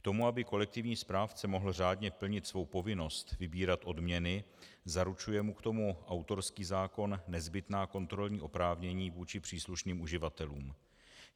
K tomu, aby kolektivní správce mohl řádně plnit svou povinnost vybírat odměny, zaručuje mu k tomu autorský zákon nezbytná kontrolní oprávnění vůči příslušným uživatelům.